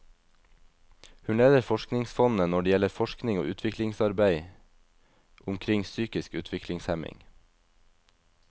Hun leder forskningsfondene når det gjelder forskning og utviklingsarbeid omkring psykisk utviklingshemning.